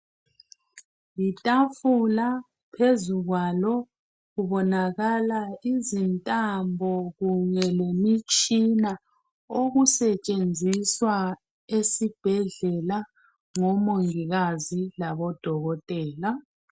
Yitafula phezukwalo kubonakala izintambo kanye lemitshina okusetshenziswa esibhedlela ngomongikazi kanye labodokotela.